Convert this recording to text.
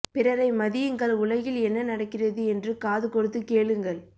பிறரை மதியுங்கள் உலகில் என்ன நடக்கிறது என்று காது கொடுத்து கேளுங்கள்